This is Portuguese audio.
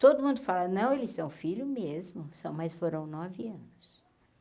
Todo mundo fala, não, eles são filho mesmo, são, mas foram nove anos.